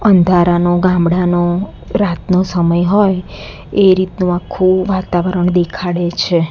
અંધારાનું ગામડાનો રાતનો સમય હોય એ રીતનું આખું વાતાવરણ દેખાડે છે.